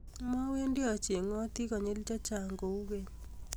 mawendi achengoti konyil chechang kou keny